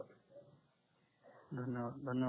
धन्यवाद धन्यवाद सर